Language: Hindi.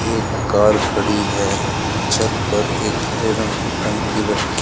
एक कार खड़ी है छत पर एक हरे रंग की टंकी रखी --